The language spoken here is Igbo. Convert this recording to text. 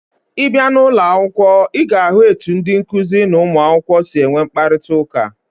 Ị bịa n'ụlọ akwụkwọ, ị ga-ahụ etu ndị nkụzi na ụmụakwụkwọ si enwe mkparịtaụka.